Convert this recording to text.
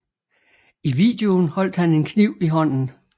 I videoen holdt han en kniv i hånden